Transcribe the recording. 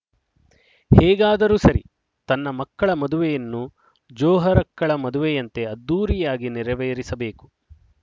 ಹೇಗಾದರೂ ಸರಿ ತನ್ನ ಮಕ್ಕಳ ಮದುವೆಯನ್ನು ಜೊಹರಕ್ಕಳ ಮದುವೆಯಂತೆ ಅದ್ದೂರಿಯಾಗಿ ನೆರವೇರಿಸಬೇಕು